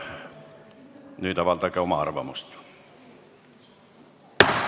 Nüüd avaldage oma arvamust.